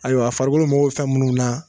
Ayiwa a farikolo magɔ be fɛn munnu na